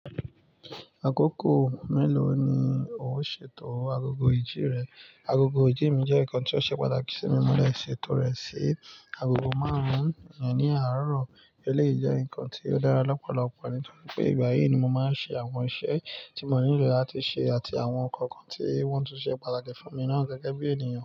Akoko mélòó ni o ṣètò agogo ìji rẹ? Agogo ìji mi jẹ́ nǹkan tí ó ṣe pàtàkì sí mi mọ́ de ṣe ètò rẹ̀ sí agogo marun-un ìyẹn ní àárọ̀. Elèyii jẹ́ ǹkan tí ó dára lọ́pọ̀lọpọ̀ nítorí pé ìgbà yìí ni mo máa ń ṣe àwọn iṣẹ́ tí mo nílò láti ṣe àti àwọn ǹkan kan tí wọ́n tún ṣe pàtàkì fún mi náà gẹ́gẹ́ bí ènìyàn.